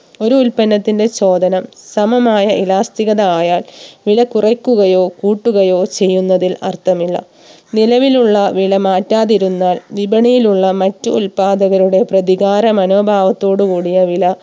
ഒരു ഉൽപ്പനത്തിന്റെ ചോദനം സമമായ Elastic ഗഥ ആയാൽ വില കുറയ്ക്കുകയോ കൂട്ടുകയോ ചെയ്യുന്നതിൽ അർത്ഥമില്ല നിലവിലുള്ള വില മാറ്റാതിരുന്നാൽ വിപണിയിലുള്ള മറ്റ് ഉൽപ്പാദകരുടെ പ്രതികാര മനോഭാവത്തോടെ കൂടിയ വില